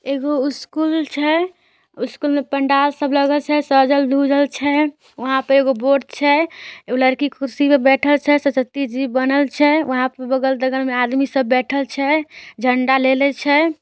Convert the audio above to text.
एगो स्कूल छै। स्कूल में पंडाल सब लगल छै सजल-धजल छै। वहाँ पे एगो बोर्ड छै। उ लड़की कुर्सी पर बैठल छै। सरस्वती जी बनल छै। वहां पे बगल-दगल में आदमी सब बैठल छै झण्डा ले ले छै।